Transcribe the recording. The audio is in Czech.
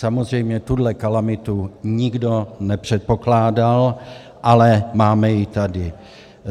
Samozřejmě tuhle kalamitu nikdo nepředpokládal, ale máme ji tady.